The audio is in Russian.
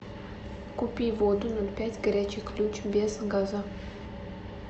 купи воду ноль пять горячий ключ без газа